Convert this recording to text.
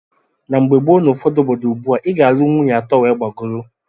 Na mgbe gboo na ụfọdụ obodo ugbua, i ga - alunwu nwaanyị atọ wee gbagọrọ.